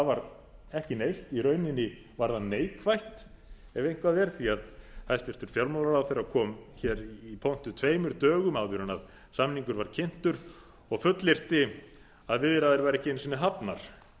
var ekki neitt í rauninni var það neikvætt ef eitthvað er því að hæstvirtur fjármálaráðherra kom hér í pontu tveimur dögum áður en samningurinn var kynntur og fullyrti að viðræður væru ekki einu sinni hafnar